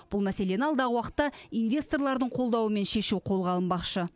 бұл мәселені алдағы уақытта инвесторлардың қолдауымен шешу қолға алынбақшы